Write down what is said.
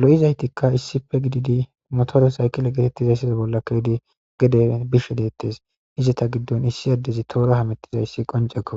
lo7izaytikka issife gididi motoro saykile geetettizayssiza bolla kewedi gede bish deettes izata giddon issi addezi toora hamettiza issi qoncekko